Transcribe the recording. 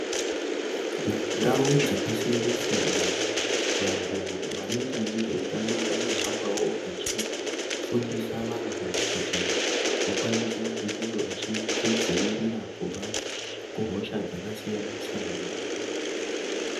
Mundau dzakasiyana-siyana, vantu vanoita nezveutano vanohambawo vechifundisa vantu ,kuti vakwanise kungewo vechizvidzivirira kubva, kuhosha dzakasiyana-siyana.